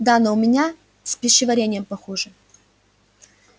да но у меня с пищеварением похуже